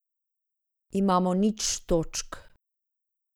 Imamo nič točk.